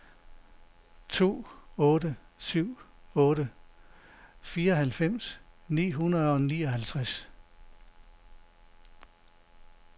to otte syv otte fireoghalvfems ni hundrede og nioghalvtreds